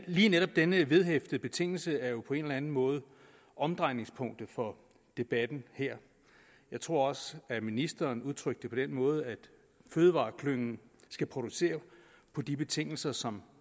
lige netop denne vedhæftede betingelse er jo på en eller enden måde omdrejningspunktet for debatten her jeg tror også at ministeren udtrykte det på den måde at fødevareklyngen skal producere på de betingelser som